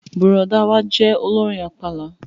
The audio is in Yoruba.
Bùrọ̀dá wa jẹ́ olórin àpàlà